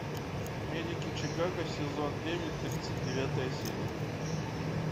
медики чикаго сезон девять тридцать девятая серия